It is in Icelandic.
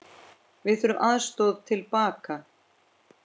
Við þurftum aðstoð til baka.